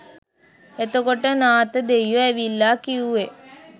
එතකොට නාථ දෙයියො ඇවිල්ලා කිවුවෙ